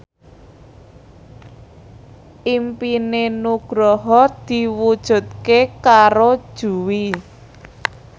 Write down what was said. impine Nugroho diwujudke karo Jui